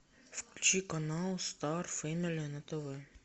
включи канал стар фэмили на тв